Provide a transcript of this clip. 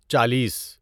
چالیس